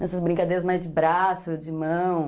Nessas brincadeiras mais de braço, de mão.